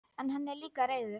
En hann er líka reiður.